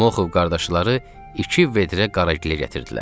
Muxov qardaşları iki vedrə qaragilə gətirdilər.